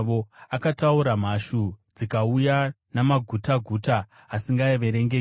Akataura, mhashu dzikauya, namagutaguta asingaverengeki;